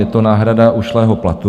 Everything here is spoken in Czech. Je to náhrada ušlého platu.